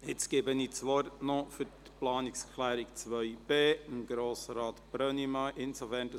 Ich erteile das Wort Grossrat Brönnimann für die Planungserklärung 2b, sobald er angemeldet ist.